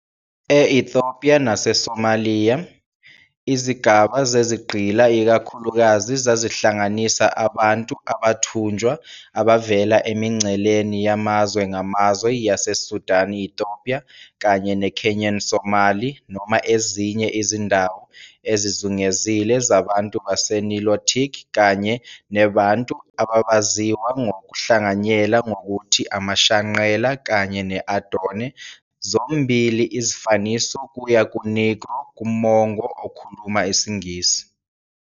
E-Ethiopia naseSomalia, izigaba zezigqila ikakhulukazi zazihlanganisa abantu abathunjwa abavela emingceleni yamazwe ngamazwe yaseSudan-Ethiopia kanye neKenyan-Somali noma ezinye izindawo ezizungezile zabantu baseNilotic kanye neBantu ababaziwa ngokuhlanganyela ngokuthi amaShanqella kanye ne-Adone, zombili izifaniso kuya ku-"negro" kumongo okhuluma isiNgisi.